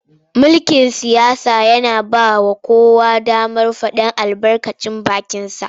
Mulkin siyasa yana ba wa kowa damar faɗar albarkacin bakinsa.